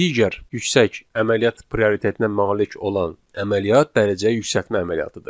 Digər yüksək əməliyyat prioritetinə malik olan əməliyyat dərəcəyə yüksəltmə əməliyyatıdır.